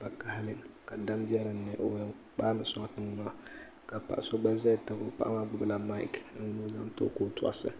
vakahili ka dam be di ni o yɛn kpaami n-sɔŋ tiŋa maa ka paɣa so gba zaya tabi o paɣa maa gbubila maiki ni o zaŋ n-ti o ka o tɔɣisi